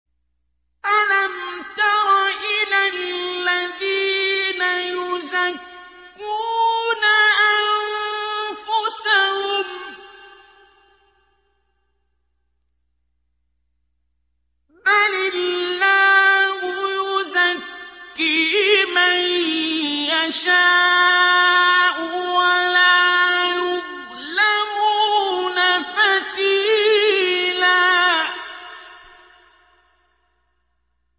أَلَمْ تَرَ إِلَى الَّذِينَ يُزَكُّونَ أَنفُسَهُم ۚ بَلِ اللَّهُ يُزَكِّي مَن يَشَاءُ وَلَا يُظْلَمُونَ فَتِيلًا